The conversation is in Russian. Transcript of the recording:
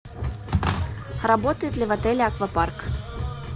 работает ли в отеле аквапарк